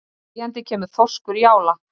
Þegjandi kemur þorskur í ála.